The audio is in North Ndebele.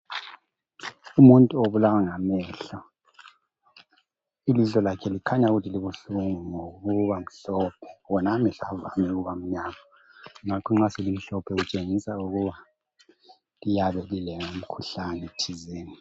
Umuntu obulawa ngamehlo. Ilihlo lakhe likhanya ukuthi libuhlungu ngokuba mhlophe wona amehlo avame ukuba mnyama. Nxa selimhloohe litshengisa ukuba liyabe lilomkhuhlane thizena.